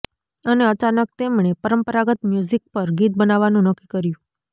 અને અચાનક તેમણે પરંપરાગત મ્યુઝિક પર ગીત બનાવવાનું નક્કી કર્યું